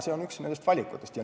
See on üks valikutest.